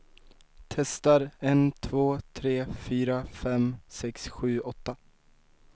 Testar en två tre fyra fem sex sju åtta.